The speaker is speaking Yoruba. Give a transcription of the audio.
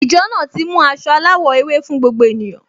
Ìjọ náà ti mú aṣọ aláwọ̀ ewé fún gbogbo ènìyàn